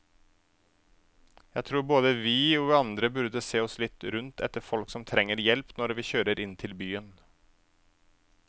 Jeg tror både vi og andre burde se oss litt rundt etter folk som trenger hjelp når vi kjører inn til byen.